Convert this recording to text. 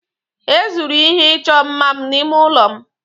E zuru ihe ịchọ mma m n'ime ụlọ m